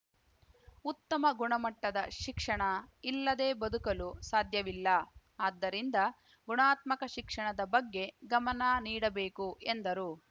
ಉತ್ತಮ ಗುಣಮಟ್ಟದ ಶಿಕ್ಷಣ ಇಲ್ಲದೆ ಬದುಕಲು ಸಾಧ್ಯವಿಲ್ಲ ಆದ್ದರಿಂದ ಗುಣಾತ್ಮಕ ಶಿಕ್ಷಣದ ಬಗ್ಗೆ ಗಮನ ನೀಡಬೇಕು ಎಂದರು